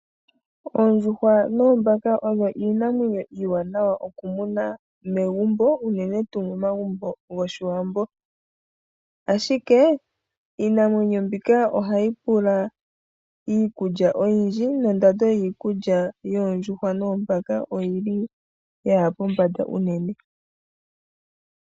Oondjuhwa noombanga odho iinamwenyo iiwanawa nokumuna momagumbo uunene tuu momagumbo goshiwambo ashike iinamwenyo mbika oyili hayi pula iikulya oyindji nondando yiikulya yoondjuhwa noombaka oyili yaha pombanda unene.